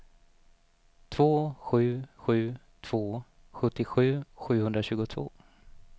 två sju sju två sjuttiosju sjuhundratjugotvå